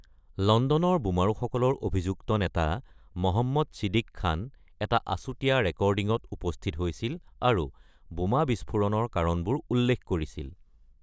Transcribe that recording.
লণ্ডনৰ বোমাৰুসকলৰ অভিযুক্ত নেতা মহম্মদ ছিদিক খান এটা আচুতীয়া ৰেকৰ্ডিঙত উপস্থিত হৈছিল আৰু বোমা বিস্ফোৰণৰ কাৰণবোৰ উল্লেখ কৰিছিল।